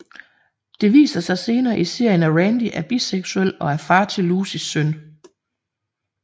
Det viser sig senere i serien af Randy er biseksuel og er far til Lucys søn